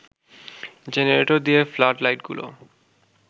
generator দিয়ে flood লাইটগুলো